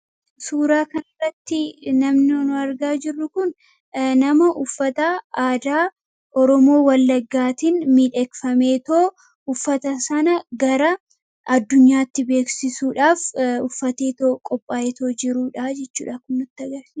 Suuraa kan irratti namoonni argaa jirru kun nama uffataa aadaa oromoo wallaggaatiin miidhakfamtee uffata sana gara addunyaatti beeksisuudhaaf uffattee qophooftee jirtuudha.